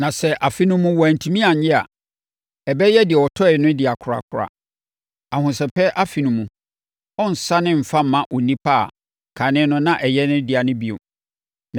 Na sɛ afe no mu wantumi annye a, ɛbɛyɛ deɛ ɔtɔeɛ no dea korakora. Ahosɛpɛ Afe no mu, ɔrensane mfa mma onipa a kane no na ɛyɛ ne dea no bio.